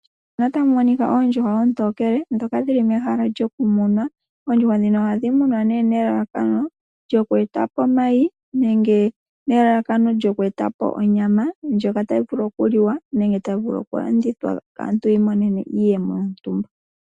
Otapu monika oondjuhwa oontokele ndhoka dhili mehala lyoku muna. Oondjuhwa ohadhimunwa nelalakano lyokweetapo omayi nenge onyama ndjoka tayivulu okuliwa nenge okulandithwa aantu yiimonene iiyemo .